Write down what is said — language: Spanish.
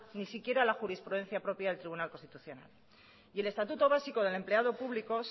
ni siquiera la jurisprudencia propia del tribunal constitucional y el estatuto básico del empleado público